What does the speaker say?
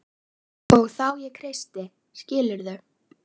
Og þá ég kreisti skilurðu?